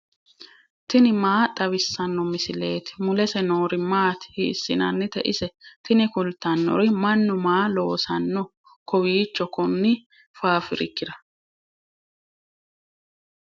tini maa xawissanno misileeti ? mulese noori maati ? hiissinannite ise ? tini kultannori mannu maa loosanno kowiicho konni fafirikira